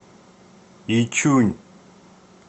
ичунь